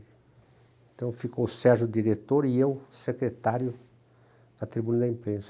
Então ficou o Sérgio diretor e eu secretário da tribuna da imprensa.